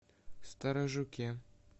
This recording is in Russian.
сторожуке